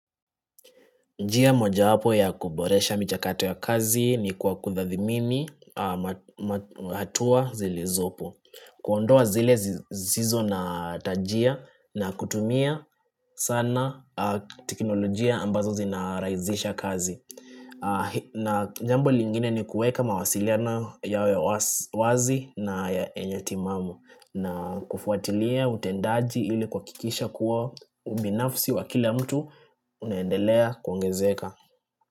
Njia mojawapo ya kuboresha michakato ya kazi ni kwa kutathmini hatua zilizopo. Kuondoa zile zisizo na tajia na kutumia sana teknolojia ambazo zinarahisisha kazi. Na jambo lingine ni kuweka mawasiliano yawe wazi na yenye timamu. Na kufuatilia utendaji ili kuhakikisha kuwa ubinafsi wa kila mtu unaendelea kuongezeka.